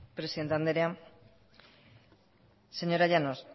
presidente andrea señora llanos